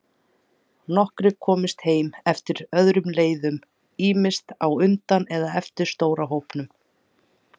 Nokkrir komust heim eftir öðrum leiðum, ýmist á undan eða eftir stóra hópnum.